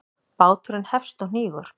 Báturinn hefst og hnígur.